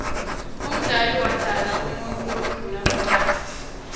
umdali wodala umuutfu lomdouna kucala